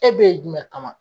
E be yen jumɛn kama